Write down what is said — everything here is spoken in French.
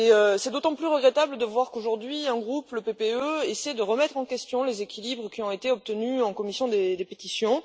C'est d'autant plus regrettable de voir qu'aujourd'hui un groupe le PPE essaie de remettre en question les équilibres qui ont été obtenus en commission des pétitions.